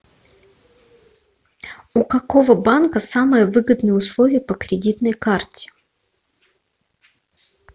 у какого банка самые выгодные условия по кредитной карте